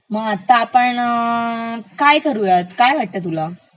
मग आता आपण काय करुयात, काय वाटतं तुला?